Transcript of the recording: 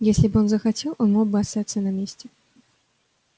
если бы он захотел он мог бы остаться на месте